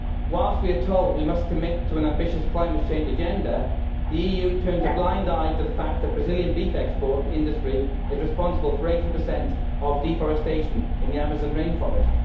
Whilst we are told we must commit to an ambitious climate change agenda, the EU turns a blind eye to the fact that the Brazilian beef export industry is responsible for 80 of deforestation in the Amazon rainforest.